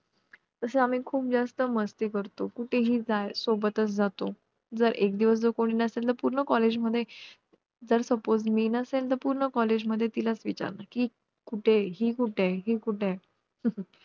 कुलदैवत, ग्रामदैवत, यांचे स्मरण व पूजन केले जाते. ग्रामदेवतेच्या मंदिरातून ग्रामदेवतेची पालखी निघते. पालखी निघाली की अख्खा गाव तिच्या मागे.